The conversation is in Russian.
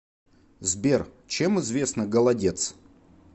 сбер чем известна голодец